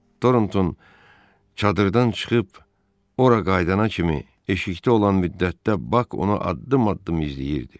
Toronton çadırdan çıxıb ora qayıdana kimi eşikdə olan müddətdə Bak onu addım-addım izləyirdi.